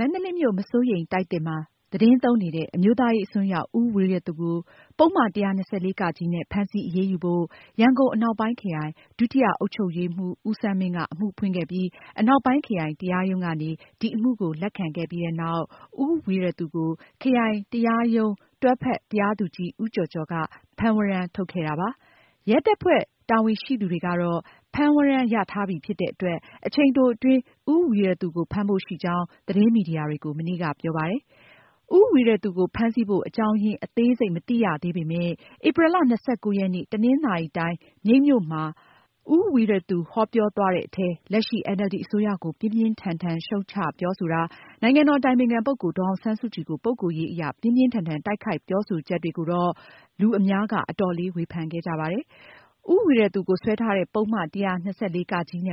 မန္တလေးမြို့ မစိုးရိမ်တိုက်သစ်မှာ သတင်းသုံးနေတဲ့ အမျိုးသားရေးအစွန်းရောက် ဦးဝီရသူကို ပုဒ်မ ၁၂၄ နဲ့ ဖမ်းဆီးအရေးယူဖို့ ရန်ကုန်အနောက်ပိုင်းခရိုင် ဒုတိယအုပ်ချုပ်ရေးမှူး ဦးစန်းမင်းက အမှုဖွင့်ခဲ့ပြီး အနောက်ပိုင်းခရိုင်တရားရုံးကနေ ဒီအမှုကို လက်ခံခဲ့ပြီးနောက် ဦးဝီရသူကို ခရိုင်တရားရုံး တွဲဖက် တရားသူကြီး ဦးကျော်ကျော်က ဖမ်းဝရမ်းထုတ်ခဲ့တာပါ။ ရဲတပ်ဖွဲ့ တာဝန်ရှိသူတွေကတော့ ဖမ်းဝရမ်းရထားပြီဖြစ်တဲ့အတွက် အချိန်တိုအတွင်း ဦးဝီရသူကို ဖမ်းဖို့ ရှိကြောင်း သတင်းမီဒီယာတွေကို မနေ့က ပြောပါတယ်။ ဦးဝီရသူကို ဖမ်းဆီးဖို့ အကြောင်းအရင်း အသေးစိတ်မသိရသေးပေမယ့် ဧပြီလ ၂၉ ရက်နေ့ တနင်္သာရီတိုင်း မြိတ်မြို့မှာ ဦးဝီရသူဟောပြောသွားတဲ့အထဲ လက်ရှိ NLD အစိုးရ ကို ပြင်းပြင်းထန်ထန် ရှုတ်ချပြောဆိုတာ၊ နိုင်ငံတော်အတိုင်ပင်ခံပုဂ္ဂိုလ် ဒေါ်အောင်ဆန်းစုကြည်ကို ပုဂ္ဂိုလ်ရေးအရ ပြင်းပြင်းထန်ထန်တိုက်ခိုက်ပြောဆိုချက်ကိုတော့ အများက အတော်လေး ဝေဖန်ခဲ့ကြပါတယ်။ ဦးဝီရသူကို စွဲထားတဲ့ ပုဒ်မ ၁၂၄ နဲ့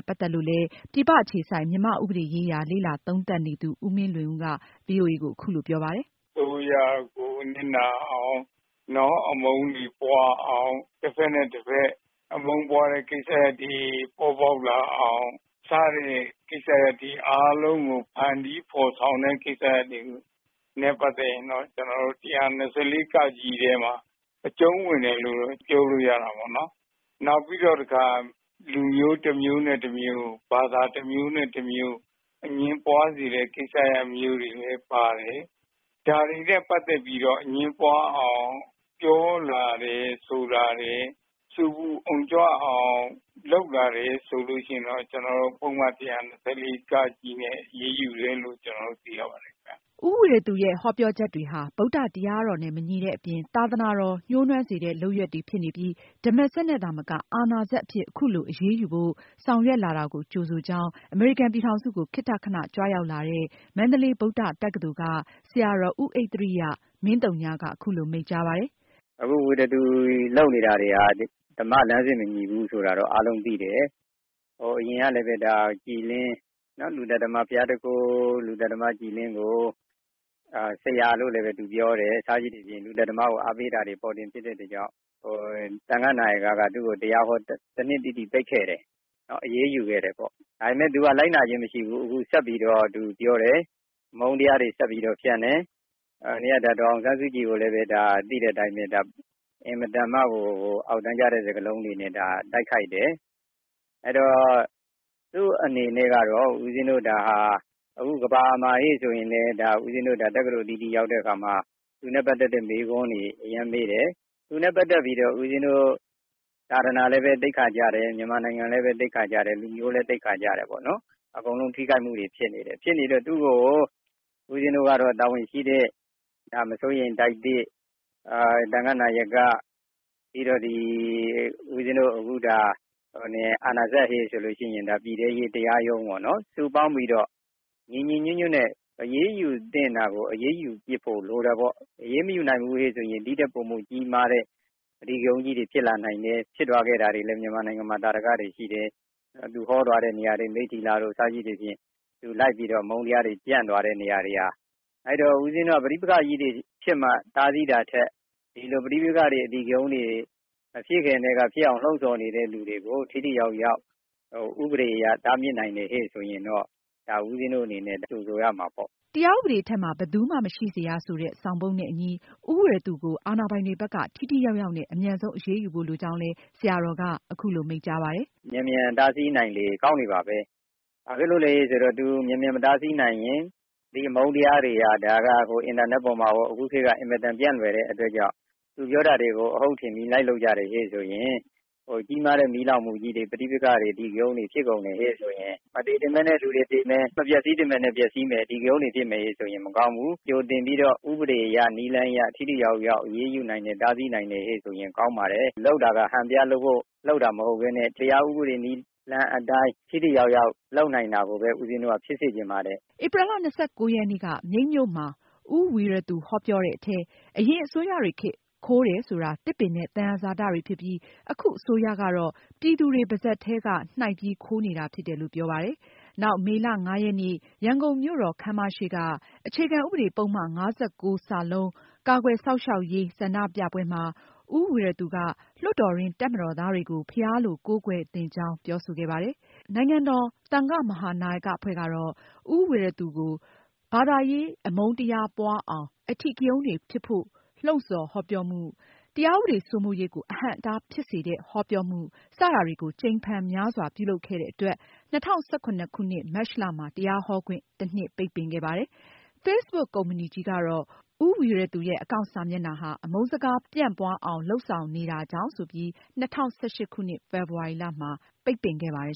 ပတ်သက်လို့လည်း ပြည်ပအခြေစိုက် မြန်မာ့ဥပဒေရေးရာ လေ့လာသုံးသပ်နေသူ ဦးမင်းလွင်ဦးက ဗွီအိုအေကို အခုလို ပြောပါတယ်။ “အစိုးရကို နစ်နာအောင် အမုန်းတွေပွားအောင် တဖက်နဲ့ တဖက် အမုန်းပွားတဲ့ ကိစ္စရပ်တွေ ပေါ်ပေါက်လာအောင် စတဲ့ကိစ္စရပ်တွေအားလုံးကို ဖန်တီးဖော်ဆောင်တဲ့ ကိစ္စရပ်တွေနဲ့ ပတ်သက်ရင်တော့ ကျနော်တို့ ပုဒ်မ ၁၂၄ ထဲမှာ အကျုံးဝင်တယ်လို့ ပြောလို့ရတာပေါေ့နာ်။ နောက်ပြီးတော့ တခါ လူမျိုးတမျိုးနဲ့ တမျိုးကို ဘာသာတမျိုးနဲ့ တမျိုးကို အငြင်းပွားစေတဲ့ ကိစ္စရပ်မျိုးတွေလည်း ပါတယ်။ ဒါတွေနဲ့ ပတ်သက်ပြီးတော့ အငြင်းပွားအောင် ပြောလာတယ် ဆိုလာတယ်။ ဆူပူအုံကြွအောင်လုပ်လာတယ်ဆိုရင်တော့ ကျနော်တို့ ပုဒ်မ ၁၂၄ နဲ့ အရေးယူတယ်လို့ ပြောလို့ရပါတယ်။” ဦးဝီရသူရဲ့ ဟောပြောချက်တွေဟာ ဗုဒ္ဓတရားတော်နဲ့မညီတဲ့အပြင် သာသနာတော် ညှိုနွမ်းစေတဲ့ လုပ်ရပ်တွေဖြစ်နေပြီး ဓမ္မစက်နဲ့သာမက အာဏာစက်အဖြစ် အခုလို အရေးယူဖို့ ဆောင်ရွက်လာတာကို ကြိုဆိုကြောင်း အမေရိကန်ပြည်ထောင်စုကို ခေတ္တခဏ ကြွရောက်လာတဲ့ မန္တလေး ဗုဒ္ဓတက္ကသိုလ်က ဆရာတော် ဦးဣဿရိယ က အခုလို မိန့်ကြားပါတယ်။ “အခု ဝီရသူလုပ်နေတာတွေဟာ ဓမ္မလမ်းစဉ် မညီဘူးဆိုတာ အားလုံးသိတယ်။ အရင်ကလည်း ဘုရားသူခိုး လူသတ်သမား ကြည်လင်းကို ဆရာလို့လည်းသူပြောတယ်။ စသဖြင့် လူသတ်သမားကို အားပေးတာတွေ ပေါ်တင်ဖြစ်တဲ့အတွက်ကြောင့် သံဃနာယက သူ့ကို တရားဟော တနှစ်တိတိ ပိတ်ခဲ့တယ် အရေးယူခဲ့တယ်ပေါ့။ ဒါပေမယ့် သူက လိုက်နာချင်းမရှိဘူး။ ဆက်ပြီးပြောတယ် အမုန်းတရားတွေ သူဆက်ပြီးတော့ ဖြန့်တယ်။ နောက်ပြီးတော့ ဒေါ်အောင်ဆန်းစုကြည်ကိုလည်း သိတဲ့အတိုင်းပဲ အင်မတန်မှ အောက်တန်းကျတဲ့ စကားလုံးတွေနဲ့ တိုက်ခိုက်တယ် အဲဒီတော့ သူ့အနေနဲ့ကတော့ဦးပဉ္ဖင်းတို့ ဒါဟာ တက္ကသိုလ်အသီးသီးရောက်တဲ့အခါမှာ သူနဲ့ ပတ်သက်တဲ့ မေးခွန်းတွေ အရမ်းမေးခံရတယ်။ သူနဲ့ ပတ်သက်ပြီးတော့ဦးပဉ္ဖင်းတို့ သာသနာလည်း သိက္ခာကျတယ်။ မြန်မာနိုင်ငံလည်း သိက္ခာကျတယ်။ လူမျိုးလည်း သိက္ခာကျတယ် ပေါ့နော် အကုန်လုံးလည်း ထိခိုက်မှုတွေ ဖြစ်နေတယ်။ ဖြစ်နေတဲ့အတွက်ကြောင့် ဦးပဉ္ဖင်းတို့က သူ့ကို မစိုးရိမ်တိုက်သစ် ၊ သံဃနာယက ပြီးတော့ဦးပဉ္ဖင်းတို့ ပြည်ထဲရေးတရားရုံးပေါ့နော် စုပေါင်းပြီးတော့ ညီညီညွတ်ညွတ်နဲ့ အရေးယူသင့်တာကို အရေးယူဖြစ်ဖို့လိုတယ်။ အရေးမယူနိုင်ဘူးဆိုရင် ဒီထက် ပိုမိုကြီးမားတဲ့ အဓိကရုဏ်းကြီးတွေ ဖြစ်လာနိုင်တယ်။ ဖြစ်ခဲ့တာတွေလည်း မြန်မာနိုင်ငံမှာ သာဓကတွေ ရှိတယ်။ သူဟောသွားတဲ့နေရာတွေ မိတ္ထီလာတို့ စသဖြင့် သူလိုက်ပြီးတော့ အမုန်းတရားတွေ ဖြန့်သွားတဲ့နေရာတွေ အဲဒီတော့ ဦးပဉ္ဖင်းတို့ ပဋိပက္ခကြီးတွေ ဖြစ်မှ တားဆီးတာထက် ဒီလိုပဋိပက္ခတွေ အဓိကရုဏ်းတွေ မဖြစ်ခင်ကတည်းကဖြစ်အောင် လှုံ့ဆောင်နေသူတွေကို ထိထိရောက်ရောက် ဥပဒေအရ တားမြစ်နိုင်တယ်ဆိုရင် ဦးပဉ္ဖင်းတို့ ကြိုဆိုရမှာပေါ့။” တရားဥပဒေအထက်မှာ ဘယ်သူမှ မရှိစေရဆိုတဲ့ ဆောင်ပုဒ်နဲ့အညီ ဦးဝီရသူကို အာဏာပိုင်တွေဘက် ထိထိရောက်ရောက်နဲ့ အမြန်ဆုံးအရေးယူဖို့ လိုကြောင်းလည်း ဆရာတော်က အခုလို မိန့်ကြားပါတယ်။ “ မြန်မြန်တားဆီးနိုင်လေ ကောင်းလေပါပဲ။ ဘာဖြစ်လို့လဲဆိုရင် မြန်မြန်မတားဆီးနိုင်ရင် ဒီအမုန်းတရားတွေက ဒါက အင်တာနက်ပေါ်မှာရော အခုခေတ်က အင်မတန်ပြန့်လွယ်တဲ့အတွက်ကြောင့် သူပြောတာကို အဟုတ်ထင်ပြီး လိုက်လုပ်ကြတယ်ဆိုရင် ကြီးမားတဲ့ မီးလောင်မှုတွေ ပဋိပက္ခတွေ အဓိကရုဏ်းတွေ မသေသင့်ပဲနဲ့ လူတွေသေမယ်၊ မပျက်ဆီးသင့်ပဲနဲ့ ပျက်စီးမယ် အဓိကရုဏ်းတွေဖြစ်မယ်ဆိုရင် မကောင်းဘူး။ ကြိုတင်ပြီးတော့ ဥပဒေအရ နည်းလမ်းအရ ထိထိရောက်ရောက် အရေးယူနိုင်တယ် တားဆီးနိုင်တယ်ဆိုရင် ကောင်းပါတယ်။ လုပ်တာက ဟန်ပြလုပ်တာ မဟုတ်ပဲနဲ့ တရားဥပဒေ နည်းလမ်းအတိုင်း ထိထိရောက်ရောက် လုပ်နိုင်တာကိုပဲ ဦးပဉ္ဖင်းတို့ ဖြစ်စေချင်ပါတယ်။” ဧပြီလ ရက်နေ့က မြိတ်မြို့မှာ ဦးဝီရသူ ဟောပြောတဲ့အထဲ အရင်အစိုးရတွေခေတ် ခိုးတယ်ဆိုတာ သစ်ပင်နဲ့ သယံဇာတတွေဖြစ်ပြီး အခု အစိုးရကတော့ ပြည်သူတွေပါးစပ်ထဲက နှိုက်ပြီး ခိုးနေတာဖြစ်တယ်လို့ ပြောပါတယ်။ နောက် မေလ ရက်နေ့ ရန်ကုန်မြို့တော်ခန်းမရှေ့ က အခြေခံဥပဒေ ပုဒ်မ ၅၉ ကာကွယ်စောင့်ရှောက်ရေး ဆန္ဒပြပွဲမှာ ဦးဝီရသူက လွှတ်တော်တွင်း တပ်မတော်သားတွေကို ဘုရားလို ကိုးကွယ်သင့်ကြောင်း ပြောဆိုခဲ့ပါတယ်။ နိုင်ငံတော် သံဃမဟာနာယကအဖွဲ့ကတော့ ဦးဝီရသူကို ဘာသာရေး အမုန်းတရားပွားအောင်၊ အဓိကရုဏ်းတွေဖြစ်ဖို့ လှုံဆော်ဟောပြောမှု၊ တရားဥပဒေစိုးမိုးရေးကို အဟန့်အတား ဖြစ်စေတဲ့ ဟောပြောမှု စတာတွေကို ကြိမ်ဖန်များစွာ ပြုလုပ်ခဲ့တဲ့အတွက် ၂၀၁၇ မတ်လမှာ တရားဟောခွင့် တနှစ်ပိတ်ပင်ခဲ့ပါတယ်။ Facebook ကုမ္ပဏီကြီးကတော့ ဦးဝီရသူရဲ့ အကောင့်စာမျက်နှာကနေ အမုန်းစကားပြန့်ပွားအောင် လုပ်ဆောင်နေတာကြောင့် ဆိုပြီး ၂၀၁၈ ဖေဖေါ်ဝါရီလမှာ ပိတ်ပစ်ခဲ့ပါတယ်